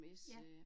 Ja